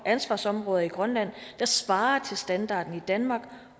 ansvarsområder i grønland der svarer til standarden i danmark